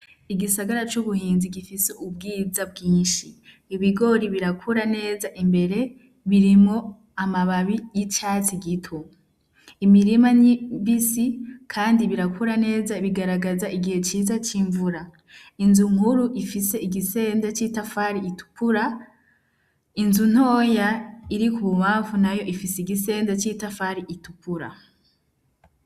Igisagara c'ubuhinzi gifise ubwiza bwinshi, ibigori birakura neza imbere birimo amababi y'icatsi gito, imirima n'imbisi kandi birakura neza bigaragaza igihe ciza c'imvura, inzu nkuru ifise igisende c'itafari ritukura, inzu ntoya iri k'ububamfu nayo ifise igisende c'itafari itukura.